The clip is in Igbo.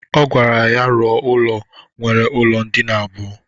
Ọ gwara ya rọ ụlọ nwere ụlọ ndịna abụọ.